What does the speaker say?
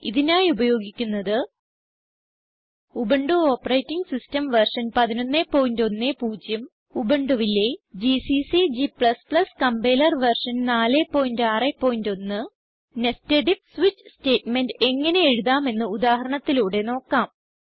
ഇതിനായി ഉപയോഗിക്കുന്നത് Ubuntu operating system version 1110 ഉബുണ്ടുവിലെ GCC g compiler version 461 nested if switch statement എങ്ങനെ എഴുതാമെന്ന് ഉദാഹരണത്തിലൂടെ നോക്കാം